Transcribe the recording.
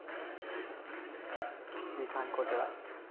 Vithankotda